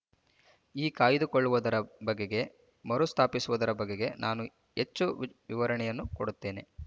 ಈ ಕಾಯ್ದುಕೊಳ್ಳುವುದರ ಬಗೆಗೆ ಮರುಸ್ಥಾಪಿಸುವುದರ ಬಗೆಗೆ ನಾನು ಹೆಚ್ಚು ವಿವರಣೆಯನ್ನು ಕೊಡುತ್ತೇನೆ